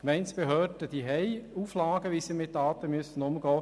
Gemeindebehörden haben Auflagen, wie sie mit Daten umgehen müssen.